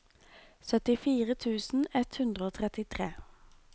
syttifire tusen ett hundre og trettitre